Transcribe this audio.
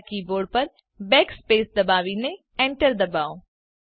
તમારા કીબોર્ડ પર બેકસ્પેસ દબાવીને એન્ટર દબાવો